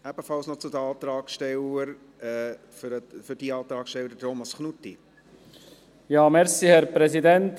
Ebenfalls zu diesem Antrag gebe ich Thomas Knutti das Wort.